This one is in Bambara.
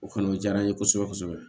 O kɔni o diyara n ye kosɛbɛ kosɛbɛ